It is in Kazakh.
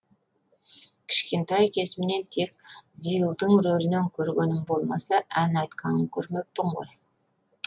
кішкентай кезімнен тек зилдың ролінен көргенім болмаса ән айтқанын көрмеппін ғой